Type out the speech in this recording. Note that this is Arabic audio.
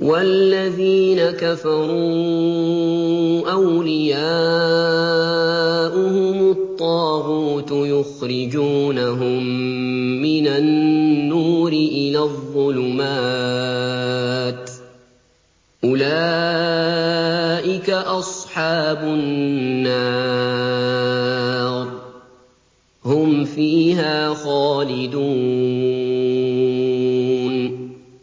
وَالَّذِينَ كَفَرُوا أَوْلِيَاؤُهُمُ الطَّاغُوتُ يُخْرِجُونَهُم مِّنَ النُّورِ إِلَى الظُّلُمَاتِ ۗ أُولَٰئِكَ أَصْحَابُ النَّارِ ۖ هُمْ فِيهَا خَالِدُونَ